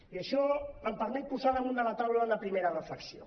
i això em permet posar damunt la taula una primera reflexió